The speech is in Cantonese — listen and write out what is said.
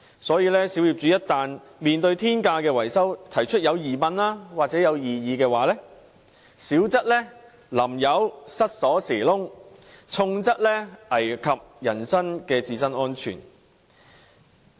所以，小業主如在面對天價的維修費時提出質疑或異議，小則被人潑油、鑰匙孔被塞，重則危及人身安全。